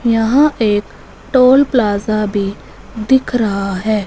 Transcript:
यहां एक toll plaza भी दिख रहा है।